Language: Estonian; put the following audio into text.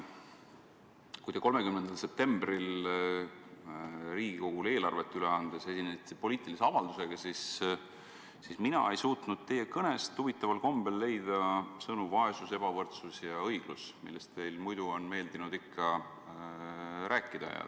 Kui te 30. septembril Riigikogule eelarvet üle andes esinesite poliitilise avaldusega, siis mina ei suutnud teie kõnest huvitaval kombel leida sõnu "vaesus", "ebavõrdsus" ja "õiglus", millest teil muidu on ikka meeldinud rääkida.